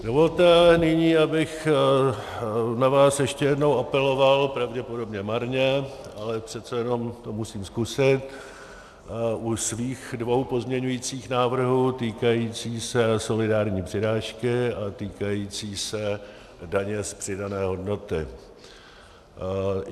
Dovolte nyní, abych na vás ještě jednou apeloval, pravděpodobně marně, ale přece jenom to musím zkusit, u svých dvou pozměňovacích návrhů - týkající se solidární přirážky a týkající se daně z přidané hodnoty.